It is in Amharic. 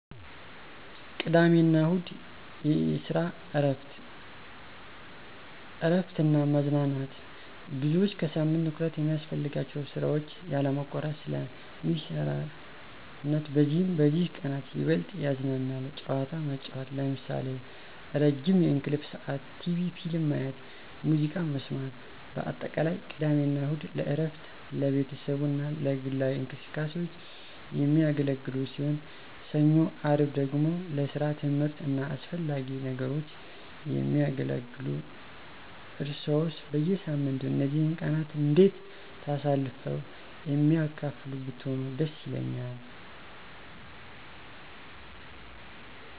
ቅድሚያ አና እሁድ (የሰራ እረፍት ) 1, እረፍት እና መዝናናት _ብዙዎች ከሳምንቱ ትኩረት የሚያስፈልጋቸውን ስራዎች ያለማቋረጥ ስለ ሚሰረነት በዚህም በዚህ ቀነት ይበልጥ ይዝናናሉ። ጨዋታ መጨዉት ለምሳሌ፦ ረዝም የእንቅልፍ ስዓት፣ ቴቪ/ፊልም ማየት፣ ሙዝቃ መሰማት በአጠቃላይ፦ ቅድሜ አና እሁድ ለእረፍት፣ ለቤተሰቡ አና ለግላዊ እንቅስቃሴዎች። የሚያገለግሉ ሲሆን፣ ሰኞ _አርብ ደግሞ ለሰራ፣ ትምህርት አና አሰፈላጊ ነገሮች የሚያገለግሉ። እርሰዋሰ በየሳምንቱ እነዚህን ቀናት እንዴት ታሳልፍሉ የሚያካፍሉ ብትሆኑ ደስ ይለኛል።